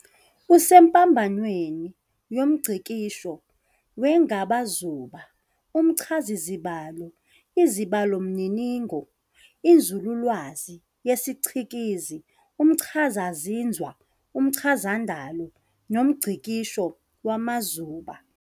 Usempambanweni yomngcikisho wengabazuba, umchazazibalo, izibalomininingo, inzululwazi yesicikizi, umchazazinzwa, umchazandalo, nomngcikisho wamazuba.